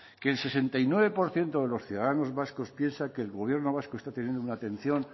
que el sesenta y nueve por ciento de los ciudadanos vascos piensa que el gobierno vasco está teniendo una atención